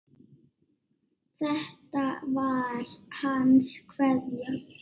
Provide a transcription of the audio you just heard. Þetta var hans kveðja.